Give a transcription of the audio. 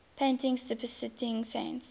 paintings depicting saints